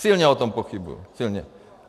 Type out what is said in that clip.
Silně o tom pochybuji. Silně.